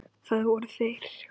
Það voru þeir